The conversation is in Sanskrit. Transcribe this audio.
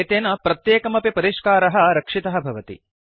एतेन प्रत्येकमपि परिष्कारः रक्षितः भवति